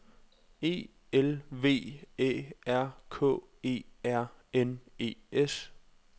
E L V Æ R K E R N E S